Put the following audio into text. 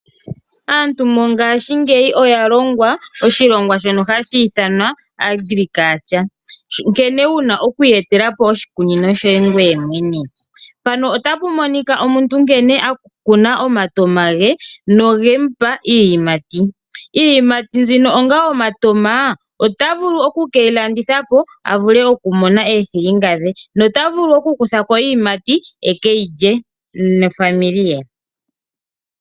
Aantu mo ngashingeyi oya longwa oshilongwa shono hashi ithanwa Agriculture, nkene wuna oku iye telapo oshi kunino shoye ngoye mwene. Mpano otapu monika omuntu nkene akuna omatoma ge noge mupa iiyimati, iiyimati zino onga omatoma ota vulu oku keyi landithapo avule oku mona eethilinga dhe nota vulu oku kuthako iiyimati eke yilye nofamily ye.